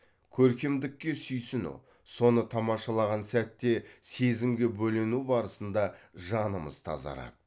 көркемдікке сүйсіну соны тамашалаған сәтте сезімге бөлену барысында жанымыз тазарады